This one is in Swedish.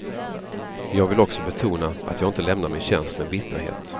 Men jag vill också betona att jag inte lämnar min tjänst med bitterhet.